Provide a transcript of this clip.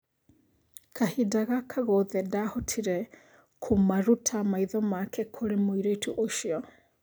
Kahinda gaka gothe ndahotire kũmaruta maitho make kũrĩ mũirĩtu ũcio.